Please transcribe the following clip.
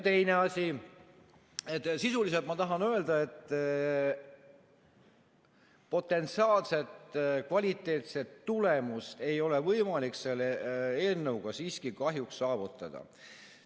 Teine asi, et sisuliselt ma tahan öelda, et potentsiaalset kvaliteetset tulemust ei ole võimalik selle eelnõuga siiski kahjuks saavutada.